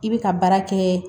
I bɛ ka baara kɛ